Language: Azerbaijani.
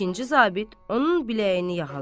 İkinci zabit onun biləyini yaxalar.